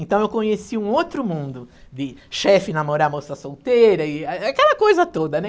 Então eu conheci um outro mundo de chefe, namorar, moça solteira e aquela coisa toda, né?